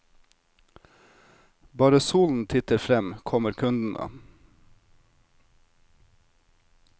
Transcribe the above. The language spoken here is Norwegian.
Bare solen titter frem, kommer kundene.